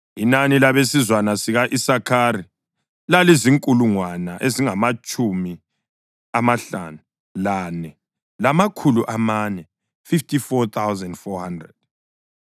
Inani labesizwana sika-Isakhari lalizinkulungwane ezingamatshumi amahlanu lane, lamakhulu amane (54,400).